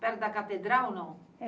Perto da catedral, não?